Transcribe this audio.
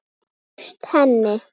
Það tókst henni.